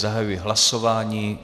Zahajuji hlasování.